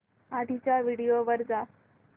आधीच्या व्हिडिओ वर जा